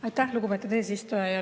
Aitäh, lugupeetud eesistuja!